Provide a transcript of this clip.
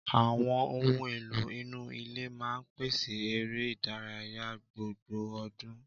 Àwọn ohun èlò inú ilé máa ń pèsè eré ìdárayá gbogbo ọdún.